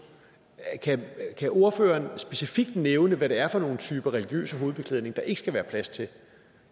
kan ordføreren specifikt nævne hvad det er for nogle typer religiøs hovedbeklædning der ikke skal være plads til